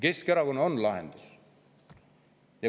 Keskerakonnal on lahendus.